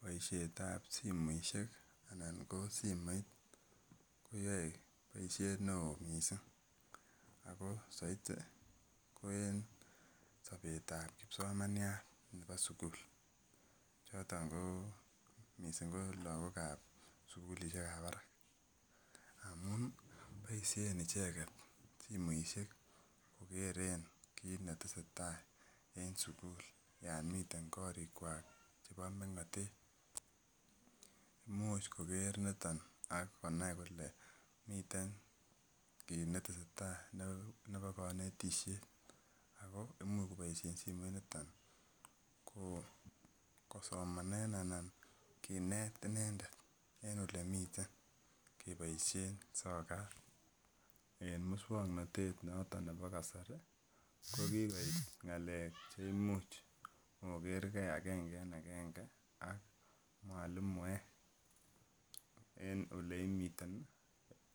Boisietab simoisiek anan koo simoit koyoe boisiet ne oo missing ako saiti ko en sobetab kipsomaniat ne bo sugul choton koo missing koo lagokab sugulisiek ab barak amun boisien icheket simoisiek kokeren kit netese tai en sugul yon miten korikwak chebo meng'otet, imuch koker nito nii akonai kole miten kit netese tai nebo konetisiet ako imuch koboisien simoiniton koo kosomanen anan kinet inendet en ole miten keboisien soka en muswoknotet noton nebo kasari ko kikoit ng'alek che imuch okerke agenge en agenge ak mwalimuek en oleimiten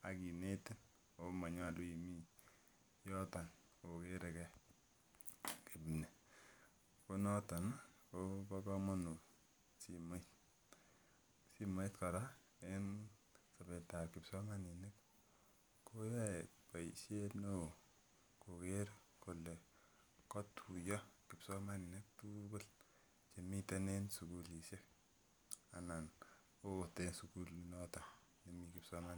ak kinetin ako monyolu imii yoton okere gee kipnii koo noton ii kobo komonut simoit. simoit kora en sobetab kipsomaninik koyoe boisiet ne oo koker kole kotuiyo kipsomaninik tuugul chemiten sigulisiek anan ot en sigulinoton nemi kipsomaninik.